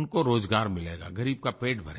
उनको रोज़गार मिलेगा ग़रीब का पेट भरेगा